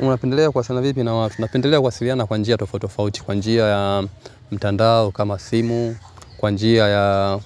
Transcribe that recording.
Unapendelea kuwasiliana vipi na watu napendelea kuwasiliana kwa njia tofautitofauti kwa njia ya mtandao kama simu kwa njia ya